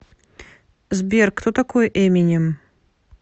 сбер кто такой эминем